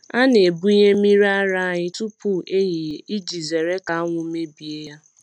A na-ebunye mmiri ara anyị tupu ehihie iji zere ka anwụ mebie ya.